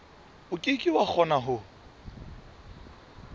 ke ke wa kgona ho